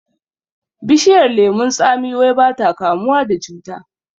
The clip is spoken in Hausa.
Bishiyar lemon tsami wai bata kamuwa da cuta